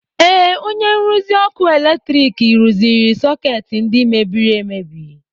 Ee, onye nruzi ọkụ eletrik rụziri sọkeetị ndị mebiri emebi.